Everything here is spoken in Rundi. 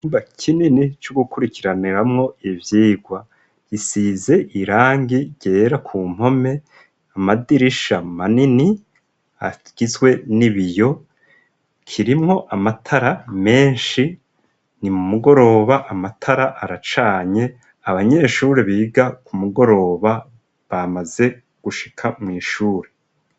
Icumba kinini co gukurikiraniramwo ivyigwa. Gisize irangi ryera ku mpome, amadirisha manini, agizwe n'ibiyo. Kirimwo amatara menshi, ni mu mugoroba amatara aracanye. Aanyeshuri biga ku mugoroba bamaze gushika mw'ishure.